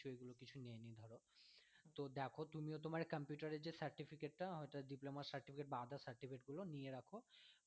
তুমিও তোমার computer এর যে certificate টা diploma certificate বা others certificate গুলো নিয়ে রাখো